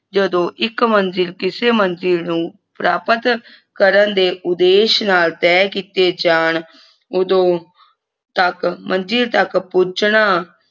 ਜਦੋਂ ਇਕ ਮੰਜਿਲ ਕਿਸੇ ਮੰਜਿਲ ਨੂੰ ਪ੍ਰਾਪਤ ਕਰਨ ਦੇ ਉਦੇਸ਼ ਨਾਲ ਤੈਅ ਕਿੱਤੇ ਜਾਣ ਓਦੋਂ ਤਕ ਮੰਜਿਲ ਤਕ ਪੁੱਜਣਾ